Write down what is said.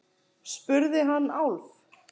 spurði hann Álf.